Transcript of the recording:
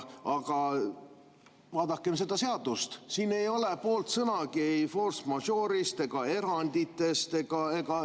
Aga vaadakem seda seadust, siin ei ole poolt sõnagi ei force majeure'ist ega eranditest.